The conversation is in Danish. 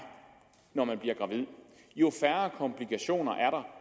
når man bliver gravid jo færre komplikationer er der